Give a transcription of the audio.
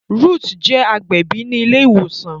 Ruth je agbẹbi ní ile ìwòsàn